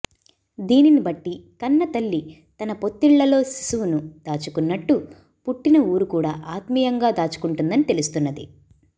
దీనిని బట్టి కన్నతల్లి తన పొత్తిళ్లలో శిశువును దాచుకున్నట్టు పుట్టిన ఊరు కూడా ఆత్మీయంగా దాచుకుంటుందని తెలుస్తున్నది